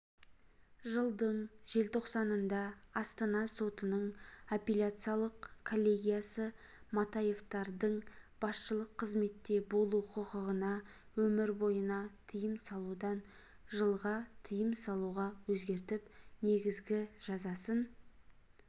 жылдың желтоқсанында астана сотының апелляциялық коллегиясы матаевтардың басшылық қызметте болу құқығына өмір бойына тыйым салудан жылға тыйым салуға өзгертіп негізгі жазасын